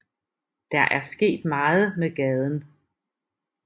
Der er sket meget med gaden